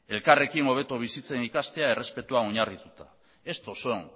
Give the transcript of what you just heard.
elkarrekin hobeto bizitzen ikastea errespetua oinarrituta estos son